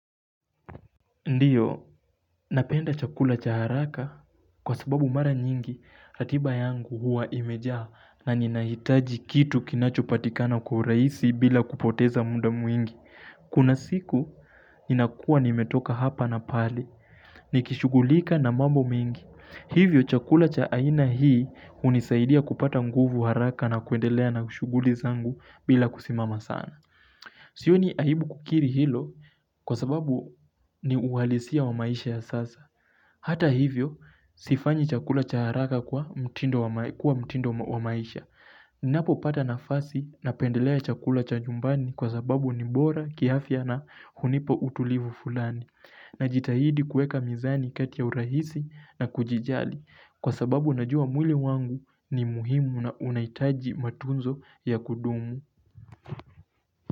Ndiyo, napenda chakula cha haraka kwa sababu mara nyingi, ratiba yangu huwa imejaa na ninahitaji kitu kinachopatikana kwa urahisi bila kupoteza muda mwingi. Kuna siku, ninakua nimetoka hapa na pale, nikishugulika na mambo mengi. Hivyo, chakula cha aina hii hunisaidia kupata nguvu haraka na kuendelea na shughuli zangu bila kusimama sana. Siyo ni aibu kukiri hilo kwa sababu ni uhalisia wa maisha ya sasa Hata hivyo, sifanyi chakula cha haraka kuwa mtindo wa maisha Ninapopata nafasi napendelea chakula cha nyumbani kwa sababu ni bora kiafya na hunipa utulivu fulani Najitahidi kuweka mizani kati ya urahisi na kujijali Kwa sababu najua mwili wangu ni muhimu na unahitaji matunzo ya kudumu.